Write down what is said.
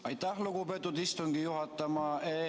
Aitäh, lugupeetud istungi juhataja!